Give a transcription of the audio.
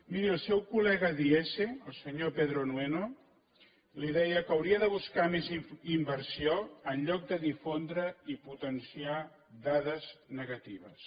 miri el seu col·lega d’iese el senyor pedro nueno li deia que hauria de buscar més inversió en lloc de difondre i potenciar dades negatives